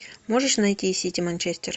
можешь найти сити манчестер